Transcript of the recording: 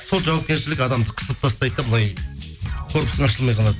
сол жауапкершілік адамды қысып тастайды да былай корпусың ашылмай қалады